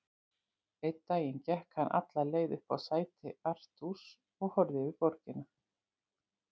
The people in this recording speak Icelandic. Einn daginn gekk hann alla leið upp á sæti Artúrs og horfði yfir borgina.